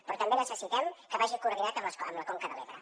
però també necessitem que vagi coordinat amb la conca de l’ebre